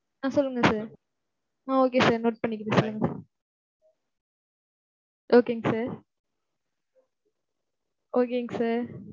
ஆஹ் சொல்லுங்க sir ஆஹ் okay sir note பண்ணிக்கிறேன் sir Okay ங்க sir. Okay ங்க sir.